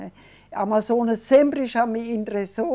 A Amazônia sempre já me interessou.